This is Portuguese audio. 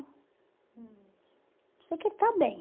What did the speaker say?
hum, Sei que ele está bem.